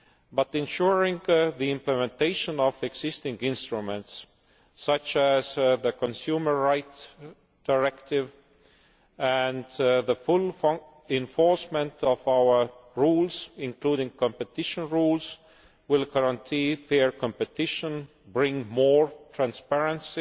But ensuring the implementation of existing instruments such as the Consumer Rights Directive, and the full enforcement of our rules including competition rules will guarantee fair competition, bring more transparency